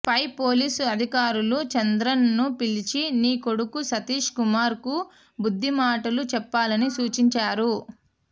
పై పోలీసు అధికారులు చంద్రన్ ను పిలిచి నీ కొడుకు సతీష్ కుమార్ కు బుద్దిమాటలు చెప్పాలని సూచించారు